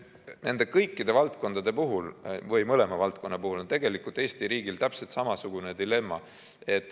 Nende kõikide valdkondade puhul, õigemini mõlema valdkonna puhul on tegelikult Eesti riigil täpselt samasugune dilemma.